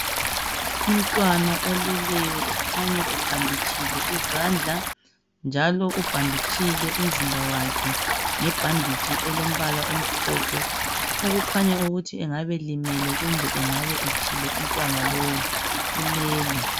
Umntwana oleleyo ekhanya ebhanditshile izandla njalo ubhanditshile umzimba wakhe ngebhanditshi elombala omhlophe okukhanya ukuthi engabelimele kumbe engabe etshile umntwana lowu, ulele.